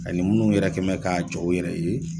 A ni minnu yɛrɛ kɛn mɛ k'a jɔ u yɛrɛ ye.